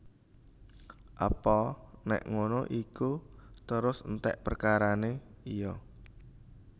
Apa nék ngono iku terus enték perkarané iya